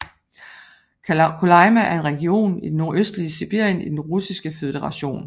Kolyma er en region i det nordøstligste Sibirien i Den Russiske Føderation